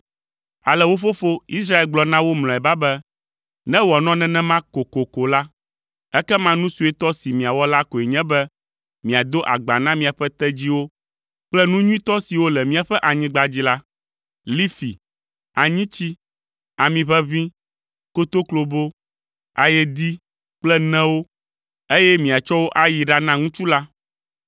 Ale wo fofo, Israel gblɔ na wo mlɔeba be, “Ne wòanɔ nenema kokoko la, ekema nu suetɔ si miawɔ la koe nye be miado agba na miaƒe tedziwo kple nu nyuitɔ siwo le míaƒe anyigba dzi la: lifi, anyitsi, ami ʋeʋĩ, kotoklobo, ayedee kple newo, eye miatsɔ wo ayi ɖana ŋutsu la.